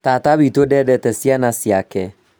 Tata witũ ndendete ciana ciake